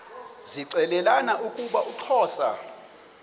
zixelelana ukuba uxhosa